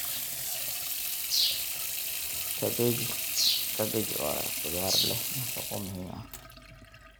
Kabeji waa khudrad leh nafaqo muhiim ah.